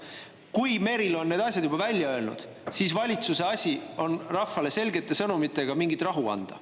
Kui Merilo on need asjad juba välja öelnud, siis valitsuse asi on rahvale selgete sõnumitega mingit rahu anda.